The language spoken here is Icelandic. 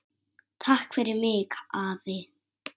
Takk fyrir mig, afi.